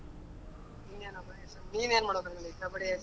ನಿನ್ ಏನ್ ಮಾಡ್ಬೇಕ್ ಅನ್ಕೊಂಡಿ ?